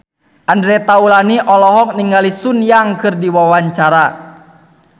Andre Taulany olohok ningali Sun Yang keur diwawancara